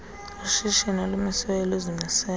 ushishini olumisiweyo luzimisele